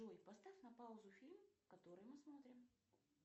джой поставь на паузу фильм который мы смотрим